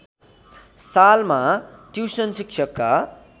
सालमा ट्युसन शिक्षकका